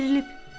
Dərlib.